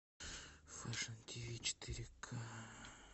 фэшн тв четыре к